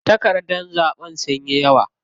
Takardar zaɓen sunyi yawa.